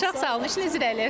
Çox sağ olun, işiniz irəli.